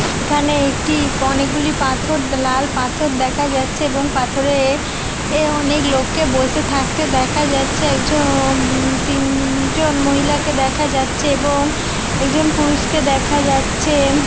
এখানে একটি অনেকগুলি পাথর লাল পাথর দেখা যাচ্ছে | এবং পাথরে অনেক লোককে বসে থাকতে দেখা যাচ্ছে |একজন তিনজন মহিলাকে দেখা যাচ্ছে | এবং একজন পুরুষকে দেখা যাচ্ছে ।